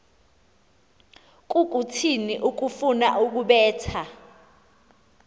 kukuthini ukufuna ukubetha